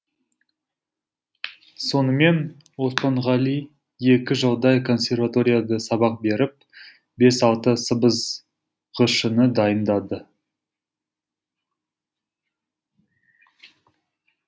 сонымен оспанғали екі жылдай консерваторияда сабақ беріп бес алты сыбызғышыны дайындады